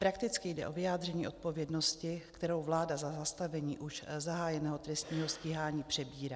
Prakticky jde o vyjádření odpovědnosti, kterou vláda za zastavení už zahájeného trestního stíhání přebírá.